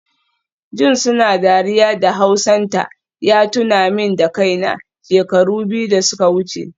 Jin suna dariya da hausanta ya tuna min da kaina, shekaru biyu da suka wuce